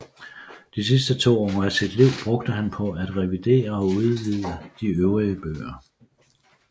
De sidste to år af sit liv brugte han på at revidere og udvide de øvrige bøger